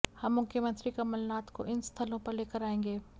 हम मुख्यमंत्री कमलनाथ को इन स्थलों पर लेकर आएंगे